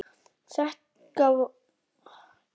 Þetta varð okkar síðasti fundur.